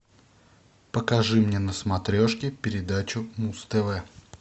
покажи мне на смотрешке передачу муз тв